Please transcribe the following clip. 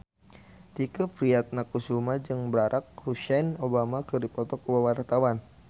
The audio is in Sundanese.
Tike Priatnakusuma jeung Barack Hussein Obama keur dipoto ku wartawan